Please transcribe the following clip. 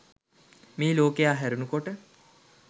මේ ලෝකය හැරුණූ කොට